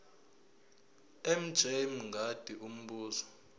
mj mngadi umbuzo